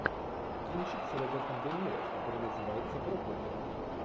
кинчик с робертом де ниро который называется проклятые